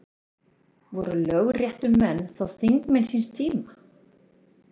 Voru lögréttumenn þá þingmenn síns tíma?